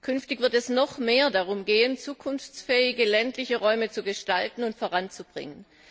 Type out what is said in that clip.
Künftig wird es noch mehr darum gehen, zukunftsfähige ländliche Räume zu gestalten und voranzubringen.